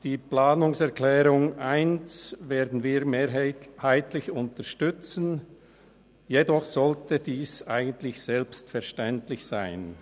Die Planungserklärung 1 werden wir mehrheitlich unterstützen, jedoch sollte ihr Inhalt eigentlich selbstverständlich sein.